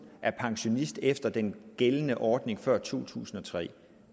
er pensionist efter den gældende ordning fra før to tusind og tre